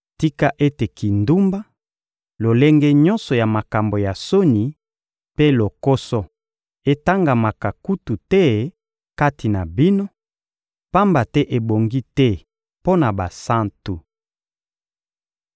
Tika ete kindumba, lolenge nyonso ya makambo ya soni mpe lokoso etangamaka kutu te kati na bino, pamba te ebongi te mpo na basantu.